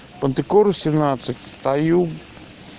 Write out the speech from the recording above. мантикора семнадцать стою